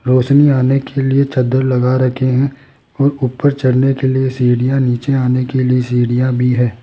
रोशनी आने के लिए चद्दर लगा रखे हैं और ऊपर चढ़ने के लिए सीढ़ियां नीचे आने के लिए सीढ़ियां भी है।